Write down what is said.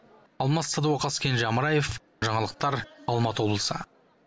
алмас садуақас кенже амраев жаңалықтар алматы облысы